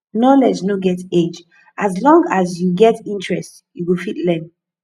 knowledge no get age as long as you get interest you go fit learn